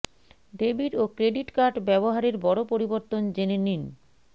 debit ও credit card ব্যবহারের বড় পরিবর্তন জেনে নিন